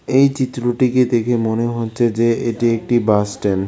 এই চিত্রটিকে দেখে মনে হচ্ছে যে এটি একটি বাস স্ট্যান্ড ।